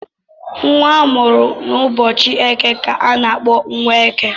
Nwa amụrụ ụbọchị eke kà a n'akpọ Nweke.